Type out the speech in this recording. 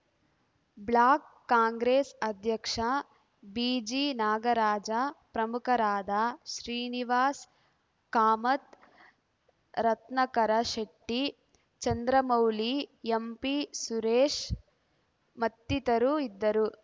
block Congress ಅಧ್ಯಕ್ಷ ಬಿಜಿನಾಗರಾಜ ಪ್ರಮುಖರಾದ Srinivasa Kamath Ratnakara Shetty Chandramouli MP Suresha ಮತ್ತಿತರರು ಇದ್ದರು